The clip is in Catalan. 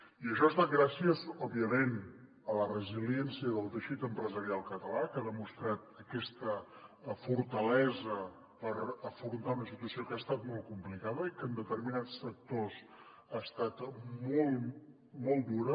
i això ha estat gràcies òbviament a la resiliència del teixit empresarial català que ha demostrat aquesta fortalesa per afrontar una situació que ha estat molt complicada i que en determinats sectors ha estat molt dura